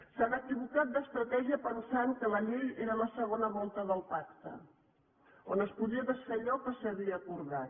s’han equivocat d’estratègia pensant que la llei era la segona volta del pacte on es podia desfer allò que s’ha acordat